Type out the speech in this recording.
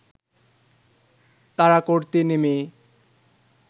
তাড়া করতে নেমে